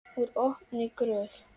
Úr opinni gröf.